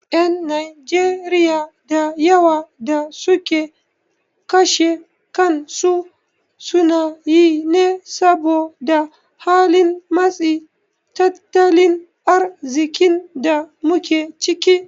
Ƴan Najeriya da yawa da suke kashe kansu sunayi ne saboda halin matsin tattalin arziƙin da muke ciki.